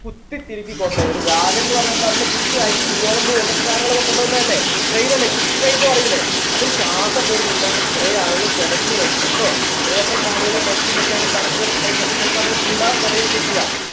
കുത്തിതിരക്കി കൊണ്ടുയി ഒരു വാഗൺ എന്ന് പറഞ്ഞാൽ എന്താ നമ്മുടെ goods അരി ഗോതമ്പ് അങ്ങനത്തെ സാധനങ്ങളൊക്കെ കൊണ്ടുപോന്നതല്ലേ train അല്ലേ goods train ന്ന് പറയൂലേ അതിലെ ശ്വാസം പോലും കിട്ടാണ്ട് കുറെ ആളുകൾ പിടഞ്ഞു മരിച് ട്ടോ ഏഴുവത്രണ്ട് ആളുകൾ മരിച്ചു എന്നൊക്കെയാണ് കണക്കുകൾ പറയുന്നത് ചിലപ്പോ അതിൽ കൂടാൻ കുറയാൻ ഒക്കെ ചെയ്യാം